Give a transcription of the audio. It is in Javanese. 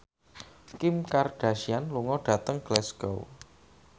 Kim Kardashian lunga dhateng Glasgow